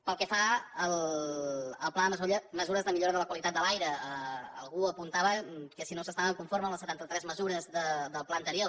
pel que fa al pla de mesures de millora de la qualitat de l’aire algú apuntava que si no s’estava conforme amb les setanta tres mesures del pla anterior